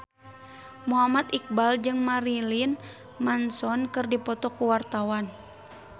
Muhammad Iqbal jeung Marilyn Manson keur dipoto ku wartawan